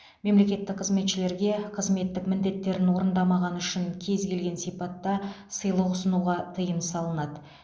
мемлекеттік қызметшілерге қызметтік міндеттерін орындамағаны үшін кез келген сипатта сыйлық ұсынуға тыйым салынады